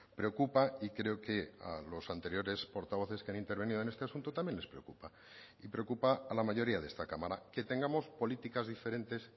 preocupa y creo que a los anteriores portavoces que han intervenido en este asunto también les preocupa y preocupa a la mayoría de esta cámara que tengamos políticas diferentes